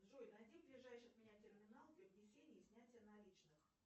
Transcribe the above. джой найди ближайший от меня терминал для внесения и снятия наличных